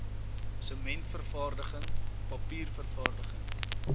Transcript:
sementvervaardiging papier vervaardiging